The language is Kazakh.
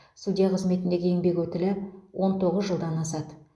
судья қызметіндегі еңбек өтілі он тоғыз жылдан асады